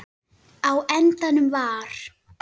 Á endanum var